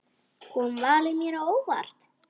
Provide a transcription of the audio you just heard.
Kom valið mér á óvart?